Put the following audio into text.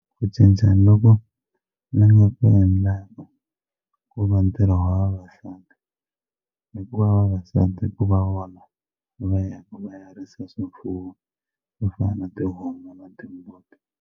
Ku cincana loko ni nga ku endla ku va ntirho wa vavasati hikuva vavasati ku va vona va ya risa swifuwo swo fana na tihomu na timbuti.